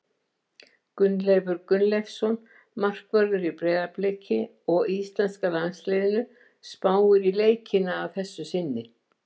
Gunnleifur Gunnleifsson, markvörður í Breiðabliki og íslenska landsliðinu, spáir í leikina að þessu sinni.